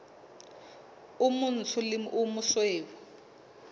o motsho le o mosweu